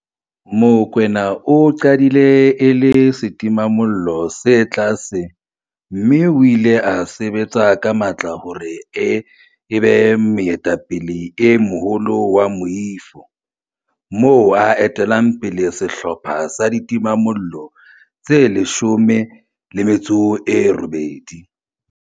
Mokoena o qadile e le setimamollo se tlase mme o ile a sebetsa ka matla hore e be moetapele e moholo wa moifo, moo a etellang pele sehlopha sa ditimamollo tse 18.